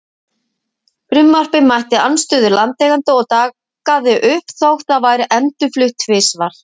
Frumvarpið mætti andstöðu landeigenda og dagaði uppi þótt það væri endurflutt tvisvar.